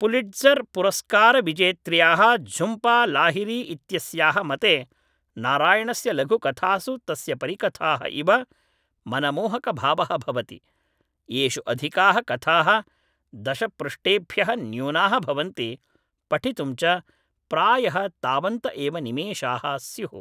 Pulitzer पुरस्कारविजेत्र्याः झुम्पा लाहिरी इत्यस्याः मते नारायणस्य लघुकथासु तस्य परिकथाः इव मनमोहकभावः भवति, येषु अधिकाः कथाः दशपृष्ठेभ्यः न्यूनाः भवन्ति, पठितुं च प्रायः तावन्त एव निमेषाः स्युः।